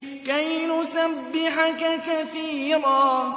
كَيْ نُسَبِّحَكَ كَثِيرًا